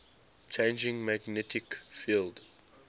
changing magnetic field